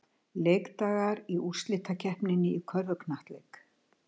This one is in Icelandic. Leikdagar í úrslitakeppninni í körfuknattleik